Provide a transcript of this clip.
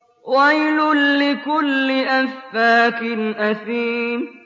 وَيْلٌ لِّكُلِّ أَفَّاكٍ أَثِيمٍ